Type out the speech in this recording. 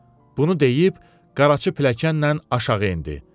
Bunu deyib, Qaraçı pilləkənnən aşağı endi.